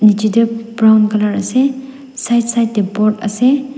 nichae tae brown colour ase side side tae board ase.